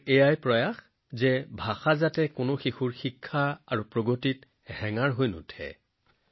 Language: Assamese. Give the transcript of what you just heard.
আমাৰ প্ৰয়াস যে ভাষা কোনো শিশুৰ শিক্ষণ আৰু প্ৰগতিৰ বাধা হব নালাগে